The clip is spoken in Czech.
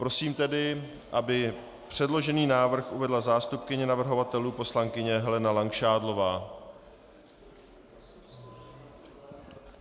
Prosím tedy, aby předložený návrh uvedla zástupkyně navrhovatelů poslankyně Helena Langšádlová.